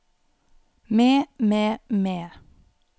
med med med